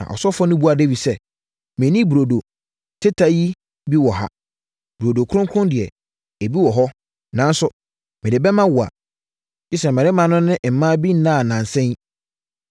Na ɔsɔfoɔ no buaa Dawid sɛ, “Menni burodo teta yi bi wɔ ha. Burodo kronkron deɛ, ebi wɔ ha, nanso mede bɛma wo a, gye sɛ mmarima no ne mmaa bi nnaa nnansa yi.”